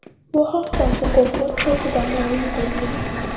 Bu haqda mukofot saytida ma’lum qilingan .